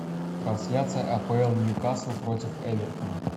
трансляция апл ньюкасл против эвертона